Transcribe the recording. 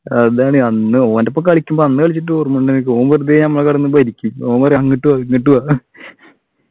അതാണ് അന്ന് ഓൻ്റെ ഒപ്പം കളിക്കുമ്പോ അന്ന് കളിച്ചിട്ടു ഓർമയുണ്ട നിനക്ക് ഓൻ വെറുതെ നമ്മ കടന്നു ഭരിക്കും ഓൻ പറയും അങ്ങട്ട് വാ ഇങ്ങ്ട്ടു വാ